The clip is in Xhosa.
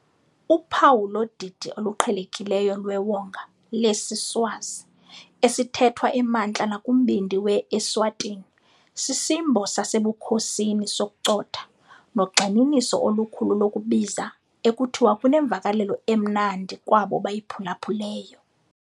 Uphawu lodidi oluqhelekileyo lwewonga lesiSwazi, esithethwa emantla nakumbindi we-Eswatini, sisimbo sasebukhosini sokucotha, nogxininiso olukhulu lokubiza, ekuthiwa kunemvakalelo 'emnandi' kwabo bayiphulaphuleyo.